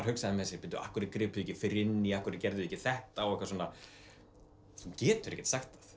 hugsaði af hverju gripu þau ekki fyrr inn í af hverju gerðuð þið ekki þetta þú getur ekkert sagt